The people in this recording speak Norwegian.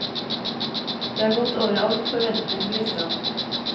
Det har gått over all forventning, gliser han.